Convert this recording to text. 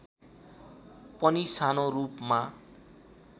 पनि सानो रूपमा